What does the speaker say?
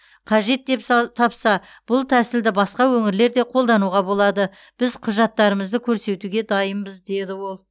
қажет деп са тапса бұл тәсілді басқа өңірлер де қолдануға болады біз құжаттарымызды көрсетуге дайынбыз деді ол